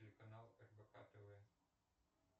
телеканал рбк тв